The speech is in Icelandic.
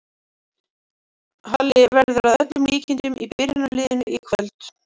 Halli verður að öllum líkindum í byrjunarliðinu í kvöld.